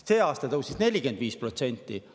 Sel aastal tõusis see 45%.